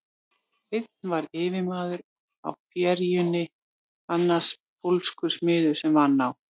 Einn var yfirmaður á ferjunni, annar pólskur smiður sem vann á